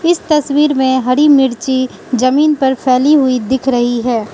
इस तस्वीर में हरी मिर्ची जमीन पर फैली हुई दिख रही है।